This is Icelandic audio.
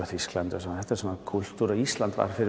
Þýskaland og svona þetta var kúltúr en Ísland var fyrir